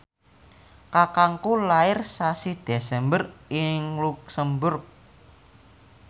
kakangku lair sasi Desember ing luxemburg